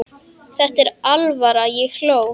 Þetta var alvara, ég hló.